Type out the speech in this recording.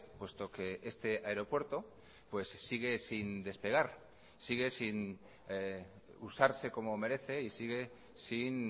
puesto que este aeropuerto pues sigue sin despegar sigue sin usarse como merece y sigue sin